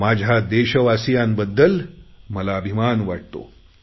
माझ्या देशवासियांबद्दल मला अभिमान वाटतो